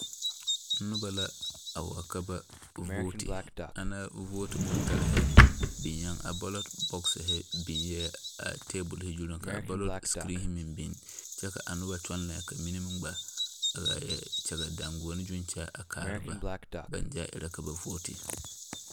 Noba la wa ba vooti, ana vooti bontarre biŋɛ a baalɔɔte bɔɔsiri biŋɛ a tabol zuri ka baalɔɔte screen meŋ biŋ biŋ kyɛ ka a noba kyɔŋ foɔli ka mine meŋ gba la kyɛge dangɔne zu kyɛ kaara ba.